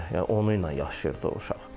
Yəni onunla yaşayırdı o uşaq.